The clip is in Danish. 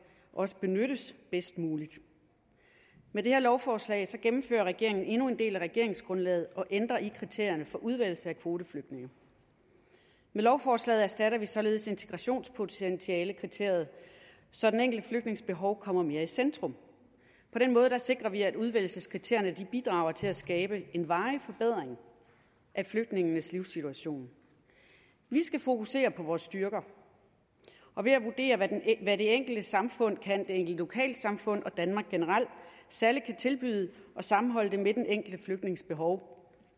også benyttes bedst muligt med det her lovforslag gennemfører regeringen endnu en del af regeringsgrundlaget og ændrer i kriterierne for udvælgelse af kvoteflygtninge med lovforslaget erstatter vi således integrationspotentialekriteriet så den enkelte flygtnings behov kommer mere i centrum på den måde sikrer vi at udvælgelseskriterierne bidrager til at skabe en varig forbedring af flygtningenes livssituation vi skal fokusere på vores styrker og ved at vurdere hvad det enkelte lokalsamfund og danmark generelt særlig kan tilbyde og sammenholde det med den enkelte flygtnings behov